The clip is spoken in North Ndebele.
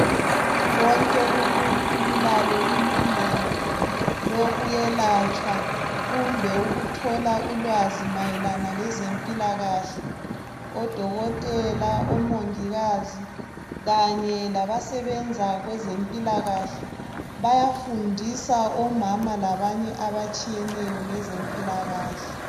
Wonke umuntu ulalo ilungelo lokuyelatshwa kumbe ukuthola ulwazi mayelana lezempilakahle, odokotela ,omongikazi kanye labasebenza kwezempilakahle bayafundisa omama labanye abatshiyeneyo ngezempilakahle.